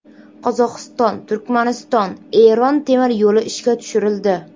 Qozog‘iston−Turkmaniston−Eron temir yo‘li ishga tushirildi.